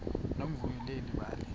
nomvuyo leli bali